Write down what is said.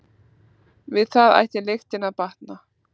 Við það ætti lyktin að batna.